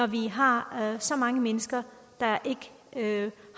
vi har så mange mennesker der ikke